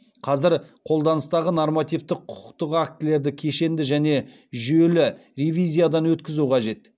қазір қолданыстағы нормативтік құқықтық актілерді кешенді және жүйелі ревизиядан өткізу қажет